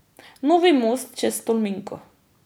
Novi most čez Tolminko.